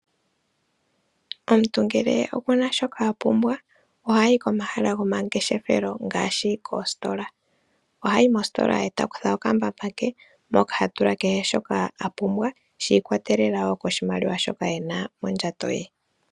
Omuntu ngele okuna shoka apumbwa ohayi komahala gomangeshefelo ngaashi koositola. ohayi mositola etakutha okambamba ke moka hatula kehe shoka apumbwa shi ikolelela koshimaliwa shoka ena mondjato ye.